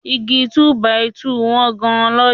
Igi túbàìtuùti wọ́n gan lọ́jà.